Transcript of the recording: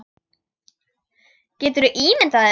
Geturðu ímyndað þér.